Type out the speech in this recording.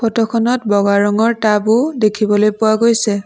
Photo খনত বগা ৰঙৰ টাব ও দেখিবলৈ পোৱা গৈছে।